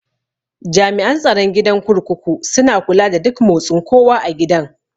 Jami'an tsaron gidan kurkuku suna kula da duk motsin kowa a gidan